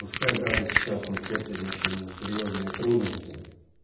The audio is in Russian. пускай даже сейчас мы терпим ещё не серьёзные трудности